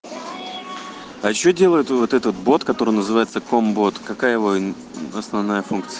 а что делает вот этот бот который называется комбот какая его основная функция